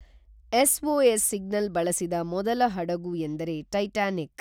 SOS signal ಬಳಸಿದ ಮೊದಲ ಹಡಗು ಎಂದರೆ ಟೈಟಾನಿಕ್